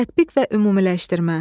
Tətbiq və ümumiləşdirmə.